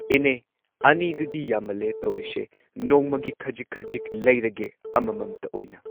ꯏꯅꯦ ꯑꯅꯤꯗꯨꯗꯤ ꯌꯥꯝꯃꯜꯂꯦ ꯇꯧꯔꯤꯁꯦ ꯅꯣꯡꯃꯒꯤ ꯈꯖꯤꯛ ꯈꯖꯤꯛ ꯂꯩꯔꯒꯦ ꯑꯃꯃꯝꯇ ꯑꯣꯏꯅ꯫